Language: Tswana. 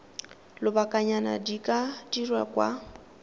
lobakanyana di ka dirwa kwa